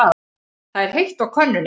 Það er heitt á könnunni.